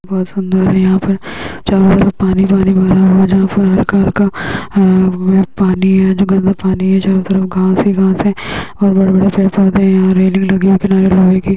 बहोत सुन्दर हैं| यहाँ पर चारों तरफ पानी पानी भरा हुआ है| जहाँ पर हल्का हल्का पानी है जो गंदा पानी है| चारो तरफ घास ही घास है और बड़े बड़े पेड़ पौधे हैं और रेलिंग लगे हैं| किनारे लोहे के --